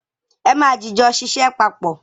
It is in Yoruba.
É ma jìjọ ṣiṣẹ́ papọ̀.